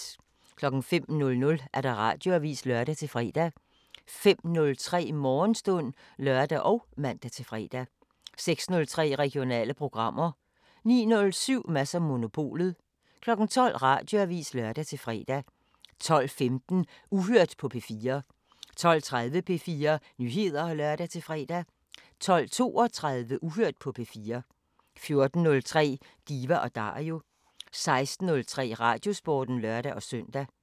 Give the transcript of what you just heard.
05:00: Radioavisen (lør-fre) 05:03: Morgenstund (lør og man-fre) 06:03: Regionale programmer 09:07: Mads & Monopolet 12:00: Radioavisen (lør-fre) 12:15: Uhørt på P4 12:30: P4 Nyheder (lør-fre) 12:32: Uhørt på P4 14:03: Diva & Dario 16:03: Radiosporten (lør-søn)